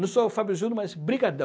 Não sou o Fábio Junior, mas brigadão.